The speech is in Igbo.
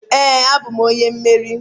Ee, abụm onye mmeri.